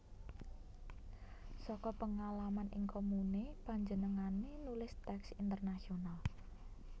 Saka pengalaman ing komune panjenengane nulis teks Intenasional